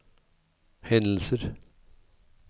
hendelser